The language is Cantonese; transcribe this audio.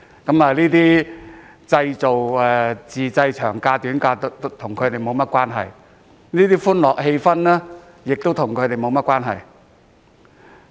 這些自製長假、短假與他們沒有關係，而這種歡樂氣氛亦與他們沒有關係。